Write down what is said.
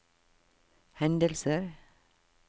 hendelser